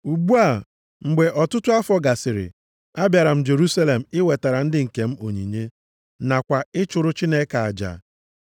“Ugbu a, mgbe ọtụtụ afọ gasịrị, abịara m Jerusalem iwetara ndị nke m onyinye, nakwa ịchụrụ Chineke aja.